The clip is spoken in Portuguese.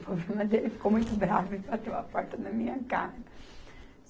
O problema dele ficou muito bravo e bateu a porta na minha cara.